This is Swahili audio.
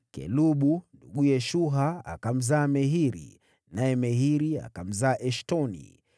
Kelubu, nduguye Shuha, akamzaa Mehiri, naye Mehiri akamzaa Eshtoni.